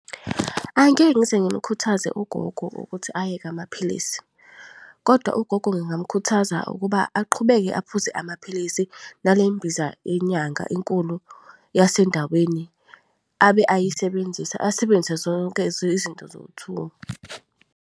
Angeke ngize ngimkhuthaze ugogo ukuthi ayeke amaphilisi, kodwa ugogo ngingamkhuthaza ukuba aqhubeke aphuze amaphilisi nale mbiza yenyanga enkulu yasendaweni abe ayisebenzisa asebenzise zonke izinto zowu-two.